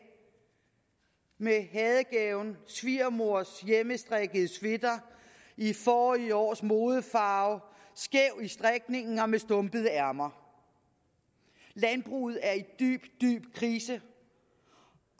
med hadegaven svigermors hjemmestrikkede sweater i forrige års modefarve skæv i strikningen og med stumpede ærmer landbruget er i dyb dyb krise